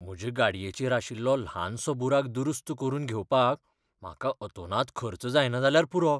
म्हजे गाडयेचेर आशिल्लो ल्हानसो बुराक दुरुस्त करून घेवपाक म्हाका अतोनात खर्च जायना जाल्यार पुरो.